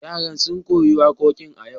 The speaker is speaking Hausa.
Yaran sun koyi wakokin a yau.